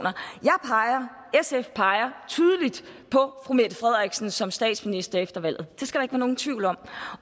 sf peger tydeligt på fru mette frederiksen som statsminister efter valget det skal der nogen tvivl om